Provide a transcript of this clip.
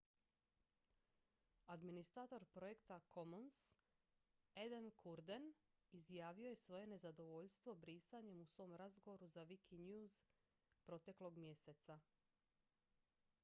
administrator projekta commons adam cuerden izrazio je svoje nezadovoljstvo brisanjem u svom razgovoru za wikinews proteklog mjeseca